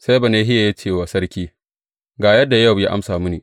Sai Benahiya ya ce wa sarki, Ga yadda Yowab ya amsa mini.